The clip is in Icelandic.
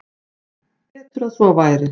Hann: Betur að svo væri.